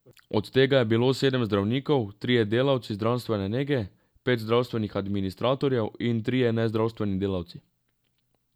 Od tega je bilo sedem zdravnikov, trije delavci zdravstvene nege, pet zdravstvenih administratorjev in trije nezdravstveni delavci.